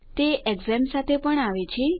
તે ઝેમ્પ સાથે પણ આવે છે